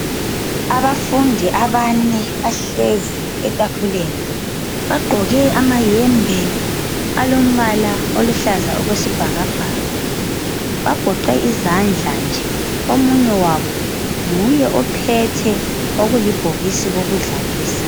Abafundi abane bahlezi etafuleni bagqoke amayembe alombala oluhlaza okwesibhakabhaka bagoqe izandla nje. Omunye wabo nguye ophethe okulibhokisi kokudlalisa.